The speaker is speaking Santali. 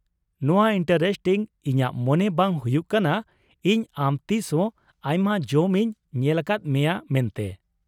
ᱱᱚᱶᱟ ᱤᱱᱴᱟᱨᱮᱥᱴᱤᱝ, ᱤᱧᱟᱹᱜ ᱢᱚᱱᱮ ᱵᱟᱝ ᱦᱩᱭᱩᱜ ᱠᱟᱱᱟ ᱤᱧ ᱟᱢ ᱛᱤᱥ ᱦᱚᱸ ᱟᱭᱢᱟ ᱡᱚᱢ ᱤᱧ ᱧᱮᱞᱟᱠᱟᱫ ᱢᱮᱭᱟ ᱢᱮᱱᱛᱮ ᱾